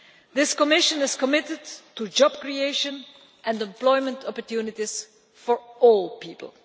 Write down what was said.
This Commission is committed to job creation and employment opportunities for all people.